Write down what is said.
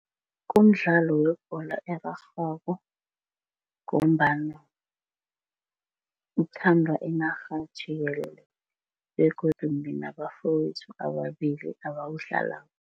Kumdlalo webholo erarhwako ngombana uthandwa inarha jikelele begodu nginabafowethu ababili abawudlalako.